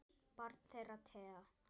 Barn þeirra Thea.